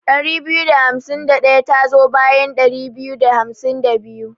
Ɗari biyu da hamsin da ɗaya tazo bayan ɗari biyu da hamsin da biyu.